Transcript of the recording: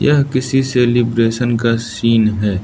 यह किसी सेलिब्रेशन का सीन है।